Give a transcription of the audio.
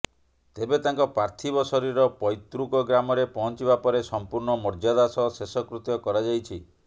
ତେବେ ତାଙ୍କ ପାର୍ଥୀବ ଶରୀର ପୈତୃକ ଗ୍ରାମରେ ପହଁଚିବା ପରେ ସମ୍ପୂର୍ଣ୍ଣ ମର୍ଯ୍ୟାଦା ସହ ଶେଷକୃତ୍ୟ କରାଯାଇଛି